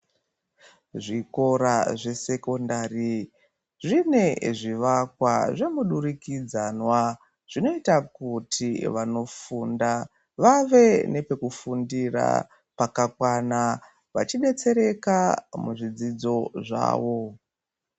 Zvikora zvesekondari zvine zvivakwa zvemudurikidzwana zvinoita kuti vanofunda vave nepekufundira pakakwana vachidetsereka muzvidzidzo zvawo.